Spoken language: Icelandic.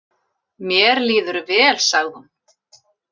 Mér líður vel, sagði hún.